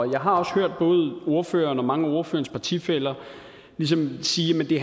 jeg har også hørt både ordføreren og mange af ordførerens partifæller ligesom sige at det